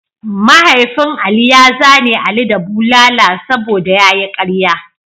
Mahaifin Ali ya zane ali da bulala saboda ya yi ƙarya.